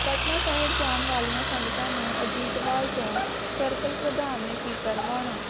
ਪਟਨਾ ਸਾਹਿਬ ਜਾਣ ਵਾਲੀਆਂ ਸੰਗਤਾਂ ਨੂੰ ਅਜੀਤਵਾਲ ਤੋਂ ਸਰਕਲ ਪ੍ਰਧਾਨ ਨੇ ਕੀਤਾ ਰਵਾਨਾ